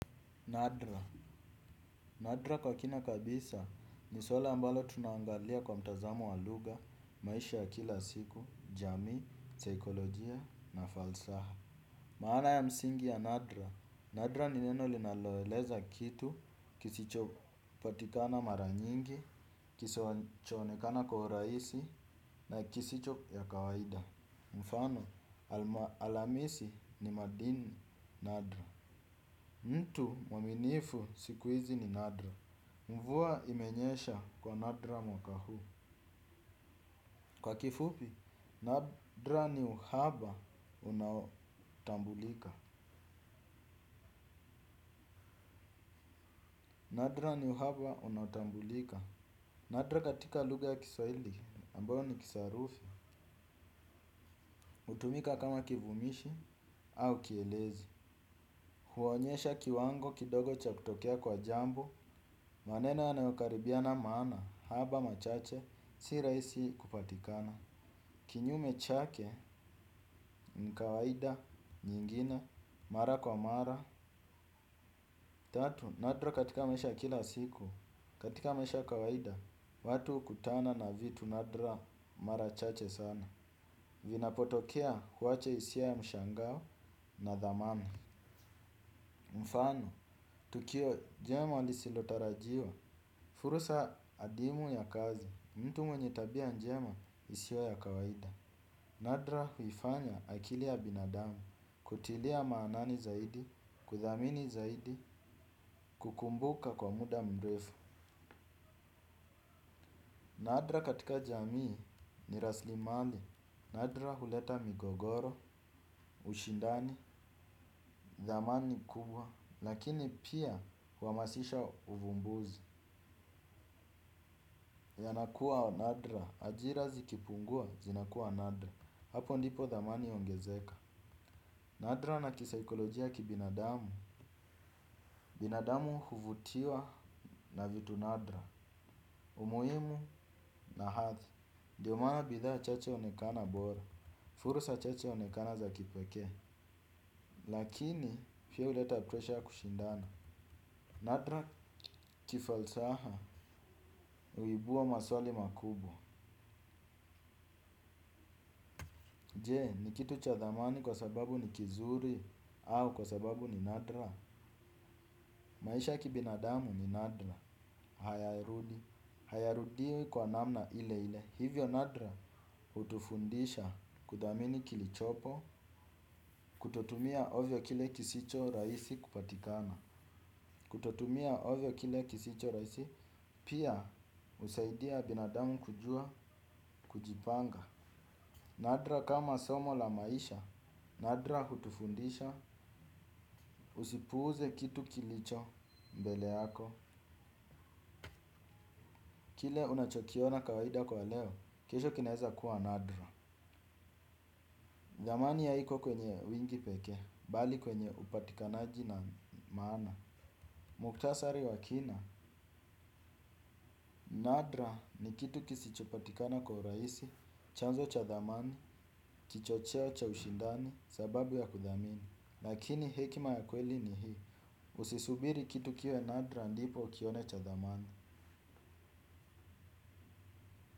Nadra. Nadra kwa kina kabisa ni swali ambalo tunaangalia kwa mtazamo wa lugha, maisha ya kila siku, jamii, saikolojia na falsaha. Maana ya msingi ya nadra. Nadra ni neno linaloeleza kitu kisichopatikana mara nyingi, kisichonekana kwa urahisi na kisicho ya kawaida. Mfano, almasi ni madini nadra mtu mwaminifu sikuizi ni nadra. Mvua imenyesha kwa nadra mwaka huu. Kwa kifupi, nadra ni uhaba unaotambulika. Nadra katika lugha ya kisawili ambayo ni kisarufi hutumika kama kivumishi au kielezi. Huonyesha kiwango kidogo cha kutokea kwa jambo. Maneno yanayokaribia na maana, haba machache, si rahisi kupatikana. Kinyume chake, ni kawaida, nyingine, mara kwa mara. Tatu, nadra katika maisha ya kila siku, katika maisha ya kawaida, watu hukutana na vitu nadra, mara chache sana. Vinapotokea huacha hisia ya mshangao na thamani. Mfano, tukio jema lisilotarajiwa, fursa adimu ya kazi. Mtu mwenye tabia njema isiyo ya kawaida. Nadra huifanya akili ya binadamu kutilia maanani zaidi, kuthamini zaidi, kukumbuka kwa muda mrefu. Nadra katika jamii ni raslimali. Nadra huleta migogoro, ushindani, thamani kubwa lakini pia huhamasisha uvumbuzi. Yanakuwa nadra, ajira zikipungua zinakuwa nadra. Hapo ndipo thamani huongezeka. Nadra na kisaikolojia kibinadamu, binadamu huvutiwa na vitu nadra, umuhimu na hadhi ndio maana bidhaa chache huonekana bora, fursa chache huonekana za kipekee. Lakini, pia huleta presha kushindana, nadra kifalsafa, huibua maswali makubwa. Je, ni kitu cha thamani kwa sababu ni kizuri, au kwa sababu ni nadra. Maisha kibinadamu ni nadra, hayarudi. Hayarudiwi kwa namna ile ile. Hivyo nadra hutufundisha kuthamini kilichopo. Kutotumia ovyo kile kisichorahisi kupatikana. Kututumia ovyo kile kisicho raisi. Pia husaidia binadamu kujua kujipanga. Nadra kama somo la maisha. Nadra hutufundisha usipuuze kitu kilicho mbele yako. Kile unachokiona kawaida kwa leo. Kesho kinaweza kuwa nadra. Zamani ya haiko kwenye wingi pekee, bali kwenye upatikanaji na maana. Muktasari wa kina, nadra ni kitu kisichopatikana kwa urahisi, chanzo cha thamani, kichocheo cha ushindani, sababu ya kuthamini. Lakini hekima ya kweli ni hii, usisubiri kitu kiwe nadra ndipo ukione cha thamani.